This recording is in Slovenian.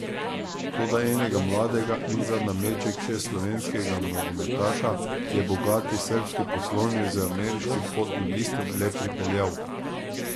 Toda enega mladega in za nameček še slovenskega nogometaša je bogati srbski poslovnež z ameriškim potnim listom le pripeljal.